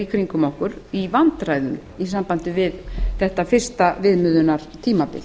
í kringum okkur í vandræðum í sambandi við þetta fyrsta viðmiðunartímabil